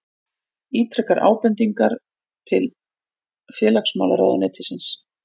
Ítrekar ábendingar til félagsmálaráðuneytisins